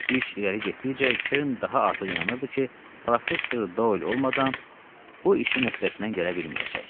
İş irəli getdikcə Kern daha artıq inanırdı ki, Professor Doyl olmadan bu işin öhdəsindən gələ bilməyəcək.